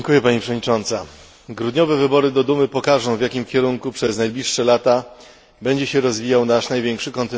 Grudniowe wybory do Dumy pokażą, w jakim kierunku przez najbliższe lata będzie się rozwijał nasz największy kontynentalny sąsiad.